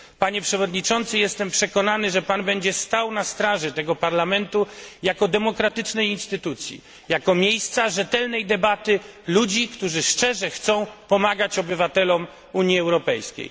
Panie przewodniczący, jestem przekonany, że będzie pan stał na straży tego Parlamentu jako demokratycznej instytucji, jako miejsca rzetelnej debaty ludzi, którzy szczerze chcą pomagać obywatelom Unii Europejskiej.